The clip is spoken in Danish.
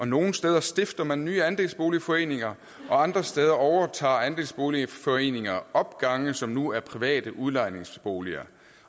nogle steder stifter man nye andelsboligforeninger og andre steder overtager andelsboligforeninger opgange som nu er private udlejningsboliger